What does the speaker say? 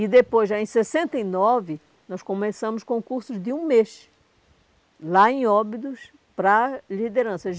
E depois, já em sessenta e nove, nós começamos com cursos de um mês, lá em Óbidos, para liderança.